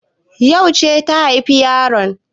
Yauce ta haifi yaron?